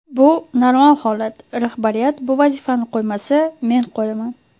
Bu normal holat, rahbariyat bu vazifani qo‘ymasa, men qo‘yaman.